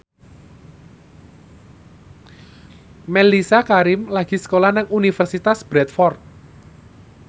Mellisa Karim lagi sekolah nang Universitas Bradford